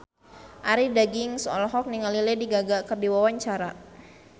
Arie Daginks olohok ningali Lady Gaga keur diwawancara